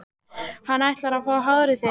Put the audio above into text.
Hann ætlar að fá hárið þitt.